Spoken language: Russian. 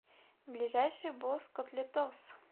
ближайший босс котлетос